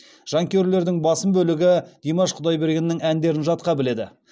жанкүйерлердің басым бөлігі димаш құдайбергеннің әндерін жатқа біледі